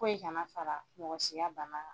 Ko in kana fara mɔgɔ si ka bana kan